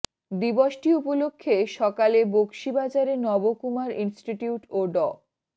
দিবসটি উপলক্ষে সকালে বকশী বজারে নবকুমার ইনস্টিটিউট ও ড